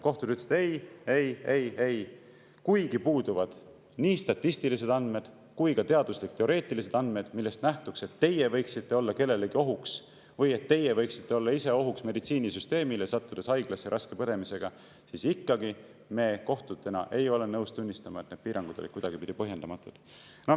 Kohtud ütlesid, et ei, ei, ei, ei, kuigi puuduvad nii statistilised andmed kui ka teaduslik-teoreetilised andmed, millest nähtuks, et teie võiksite olla kellelegi ohuks või et teie võiksite olla meditsiinisüsteemile ohuks, sattudes haiglasse raske põdemisega, siis ikkagi ei ole me nõus tunnistama, et need piirangud olid kuidagipidi põhjendamatud.